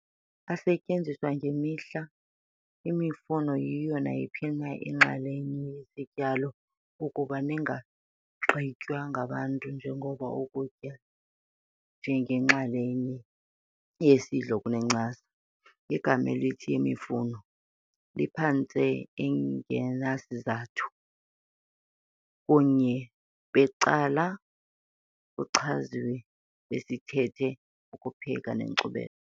Asetyenziswa ngemihla, imifuno yiyo nayiphi na inxalenye yesityalo ukuba ningagqitywa ngabantu njengoko ukutya njengenxalenye yesidlo okunencasa. Igama elithi "yemifuno" liphantse engenasizathu, kunye becala kuchaziwe ngesithethe okupheka nenkcubeko.